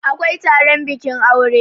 awkai Taron bikin aure